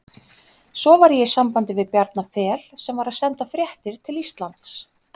Svo var ég í sambandi við Bjarna Fel sem var að senda fréttir til Íslands.